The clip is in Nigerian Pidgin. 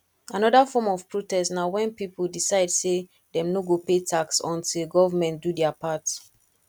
another form of protest na when pipo decide say dem no go pay tax until government do their part